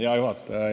Hea juhataja!